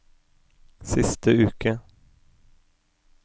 siste uke